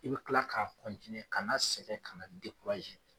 I bɛ kila k'a ka na sɛgɛn ka na